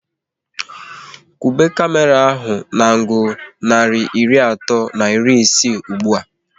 Kwuba kamera ahu na angul narị iri atọ na iri isii ụgbụa!